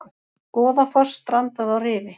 Goðafoss strandaði á rifi